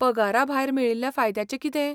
पगारा भायर मेळिल्ल्या फायद्यांचें कितें ?